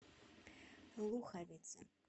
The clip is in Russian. луховицы